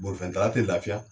Bolifɛntala te lafiya